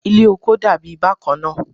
Ile oko dabi bakanna